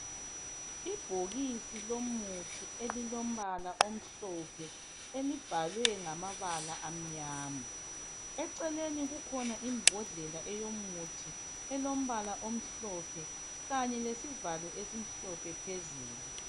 Ibhokisi lomuthi elilombala omhlophe elibhalwe ngamabala amnyama. Eceleni kukhona imbodlela eyomuthi elombala omhlophe kanye lesivalo esimhlophe phezulu.